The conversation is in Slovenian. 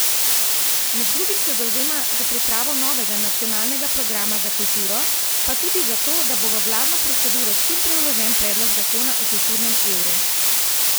Med drugim se zavzema za pripravo novega Nacionalnega programa za kulturo, pa tudi zato, da bo v vladno proceduro čim prej vložen predlog zakona o kulturnem evru.